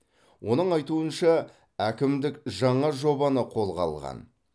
оның айтуынша әкімдік жаңа жобаны қолға алған